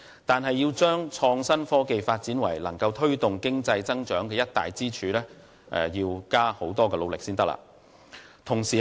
但是，要將創新科技發展成為足以推動經濟增長的一大支柱，仍需不斷努力。